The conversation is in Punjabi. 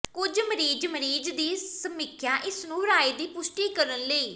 ਕੁਝ ਮਰੀਜ਼ ਮਰੀਜ਼ ਦੀ ਸਮੀਖਿਆ ਇਸ ਨੂੰ ਰਾਏ ਦੀ ਪੁਸ਼ਟੀ ਕਰਨ ਲਈ